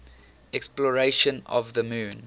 exploration of the moon